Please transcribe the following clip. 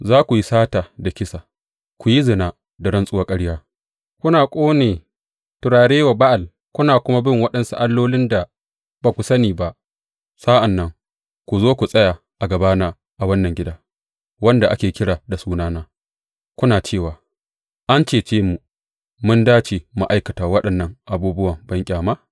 Za ku yi sata da kisa, ku yi zina da rantsuwar ƙarya, kuna ƙone turare wa Ba’al kuna kuma bin waɗansu allolin da ba ku sani ba, sa’an nan ku zo ku tsaya a gabana a wannan gida, wanda ake kira da Sunana, kuna cewa, An cece mu, mun dace mu aikata waɗannan abubuwa banƙyama?